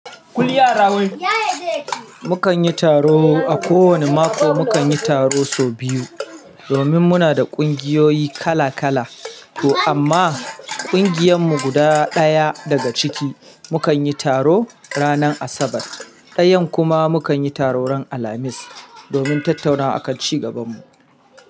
Ku yi yara wai. Mukan yi taro a kowane mako, mukan yi taro sau biyu. Domin muna da ƙungiyoyi kala kala, to amma ƙungiyar mu guda ɗaya daga ciki, mu kan yi taro ranar Asabar. Ɗayan kuma mu kan yi taro ran Alhamis, domin tattaunawa a kan ci gaban mu.